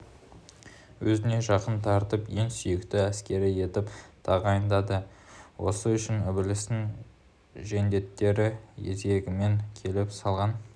өзіне жақын тартып ең сүйікті әскері етіп тағайындайды осы үшін ібілістің жендеттері кезегімен келіп салған